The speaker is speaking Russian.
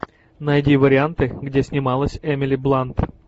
найди варианты где снималась эмили блант